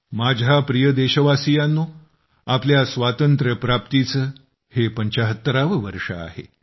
माझ्या प्रिय देशवासियांनो आपल्या स्वातंत्र्यप्राप्तीचे हे 75 वे वर्ष आहे